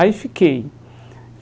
Aí fiquei.